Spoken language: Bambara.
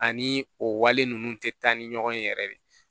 Ani o wale ninnu tɛ taa ni ɲɔgɔn ye yɛrɛ de